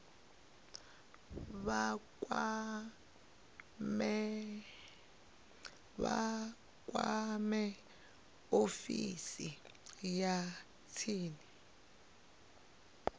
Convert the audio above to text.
vha kwame ofisi ya tsini